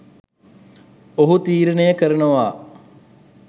ඔහු තීරණය කරනවා